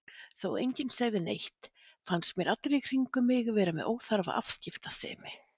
Þó enginn segði neitt fannst mér allir í kringum mig vera með óþarfa afskiptasemi.